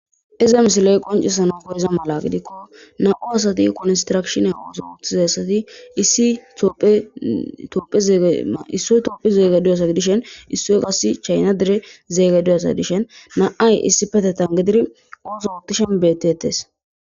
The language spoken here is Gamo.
iza misiloy qoncisano goriza mala gidikko na7u asati kunistrakshine ooso uttizayssati issi ooegeissoy tophi zeege duyasa gidishen issoy qassi chayna dire zeegeduyassa dishen na7ay issi petetan gidiri ooso oottishen betteetes